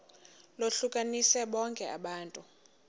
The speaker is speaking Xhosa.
lohlukanise bonke abantu